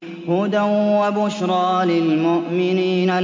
هُدًى وَبُشْرَىٰ لِلْمُؤْمِنِينَ